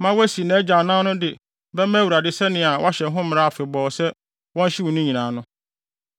ma wasi nʼagya anan no de bɛma Awurade sɛnea wɔahyɛ ho mmara afebɔɔ sɛ wɔnhyew ne nyinaa no.